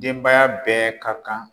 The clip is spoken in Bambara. Denbaya bɛɛ ka kan